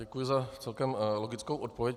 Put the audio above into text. Děkuji za celkem logickou odpověď.